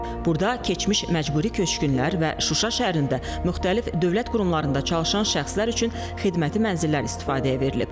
Burada keçmiş məcburi köçkünlər və Şuşa şəhərində müxtəlif dövlət qurumlarında çalışan şəxslər üçün xidməti mənzillər istifadəyə verilib.